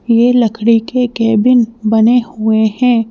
यह लकड़ी के कैबिन बने हुए हैं।